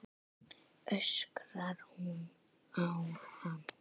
öskrar hún á hann.